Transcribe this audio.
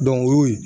o y'o ye